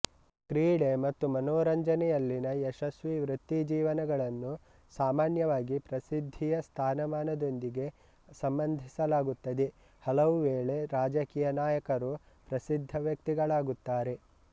ಕ್ರೀಡೆ ಮತ್ತು ಮನರಂಜನೆಯಲ್ಲಿನ ಯಶಸ್ವಿ ವೃತ್ತಿಜೀವನಗಳನ್ನು ಸಾಮಾನ್ಯವಾಗಿ ಪ್ರಸಿದ್ಧಿಯ ಸ್ಥಾನಮಾನದೊಂದಿಗೆ ಸಂಬಂಧಿಸಲಾಗುತ್ತದೆ ಹಲವುವೇಳೆ ರಾಜಕೀಯ ನಾಯಕರು ಪ್ರಸಿದ್ಧ ವ್ಯಕ್ತಿಗಳಾಗುತ್ತಾರೆ